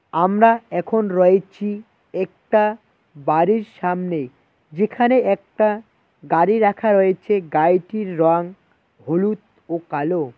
আমরা এখন রয়েছি একটা বাড়ির সামনে। যেখানে একটা গাড়ি রাখা রয়েছে গাড়িটির রং হলুদ ও কালো।